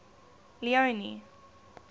leone